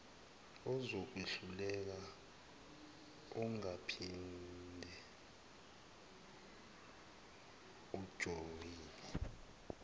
ozokwehlulela ungaphinde ujoyine